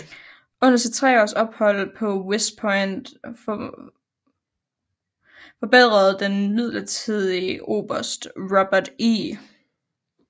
Under sit tre års ophold på West Point forbedrede den midlertidige oberst Robert E